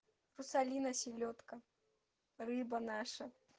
русалина селёдка рыба наша